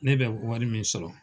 Ne bɛ wari min sɔrɔ